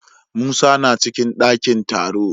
Musa na cikin dakin taro.